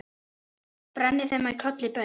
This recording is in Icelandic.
brenni þeim í kolli baun